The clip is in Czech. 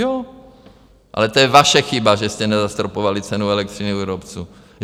Jo, ale to je vaše chyba, že jste nezastropovali cenu elektřiny u výrobců!